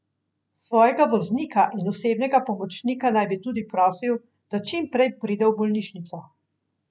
Svojega voznika in osebnega pomočnika naj bi tudi prosil, da čim prej pride v bolnišnico.